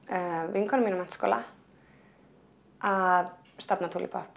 vinkona mín úr menntaskóla að stofna